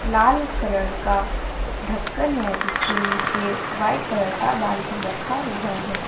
लाल colour का ढक्कन है जिसके नीचे व्हाइट कलर का बाल्टी रखा हुआ है।